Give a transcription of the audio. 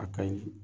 A ka ɲi